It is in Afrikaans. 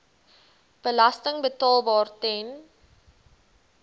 belasting betaalbaar ten